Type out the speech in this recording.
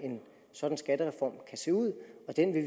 sådan